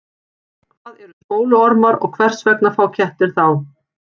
Hvað eru spóluormar og hvers vegna fá kettir þá?